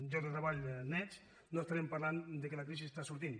llocs de treball nets no estarem parlant que la crisi està sortint